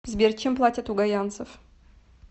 сбер чем платят у гайанцев